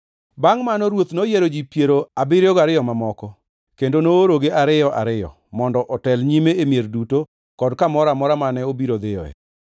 Bangʼ mano, Ruoth noyiero ji piero abiriyo gariyo mamoko, kendo noorogi ariyo, ariyo mondo otel nyime e mier duto kod kamoro amora mane obiro dhiyoe.